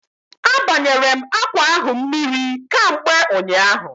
A banyere m akwa ahụ mmiri kamgbe ụnyaahụ